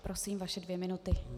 Prosím, vaše dvě minuty.